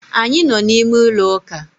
Anyị nọ n'ime ụlọ ụka